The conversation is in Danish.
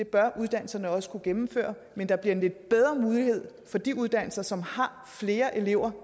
bør uddannelserne også kunne gennemføre men der bliver en lidt bedre mulighed for de uddannelser som har flere elever